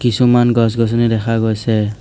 কিছুমান গছ গছনি দেখা গৈছে।